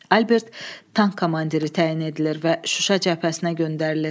Albert tank komandiri təyin edilir və Şuşa cəbhəsinə göndərilir.